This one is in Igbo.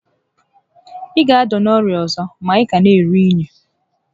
Ị ga ada n'orịa ọzọ ma ị ka n'eru únyí